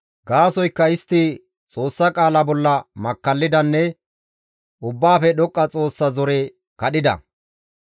Gaasoykka istti Xoossa qaala bolla makkallidanne Ubbaafe Dhoqqa Xoossa zore kadhida.